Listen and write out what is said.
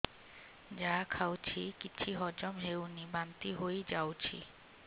ଯାହା ଖାଉଛି କିଛି ହଜମ ହେଉନି ବାନ୍ତି ହୋଇଯାଉଛି